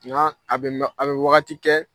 Ŋa a bɛ mɛ a bɛ wagati kɛ